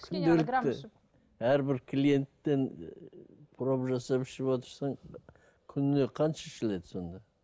күнделікті әрбір клиенттен ы проба жасап ішіп отырсаң күніне қанша ішіледі сонда